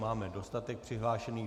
Máme dostatek přihlášených.